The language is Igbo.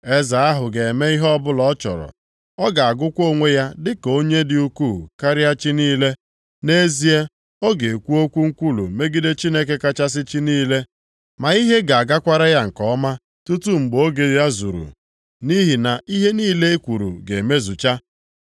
“Eze ahụ ga-eme ihe ọbụla ọ chọrọ. Ọ ga-agụkwa onwe ya dịka onye dị ukwuu karịa chi niile. Nʼezie, ọ ga-ekwu okwu nkwulu megide Chineke kachasị chi niile. Ma ihe ga-agakwara ya nke ọma tutu mgbe oge ya zuru. Nʼihi na ihe niile ekwuru ga-emezucha.